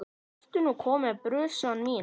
Ertu nú komin, brussan mín?